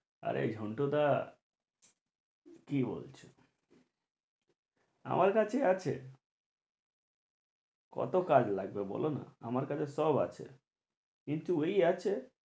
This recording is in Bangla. আরে ঝন্টু দা কি বলছো? আমার কাছে আছে কতো কাজ লাগবে বলো না আমার কাছে সব আছে কিন্তু এই আছে